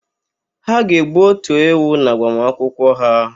Ha ga-egbu ótù ewu n'agbamakwụkwọ ha.